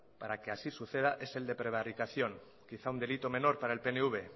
para que así suceda es el de prevaricación quizá un delito menor para el pnv